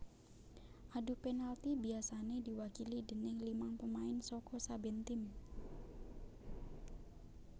Adu penalti biasané diwakili déning limang pemain saka saben tim